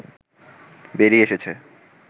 বেরিয়ে এসেছে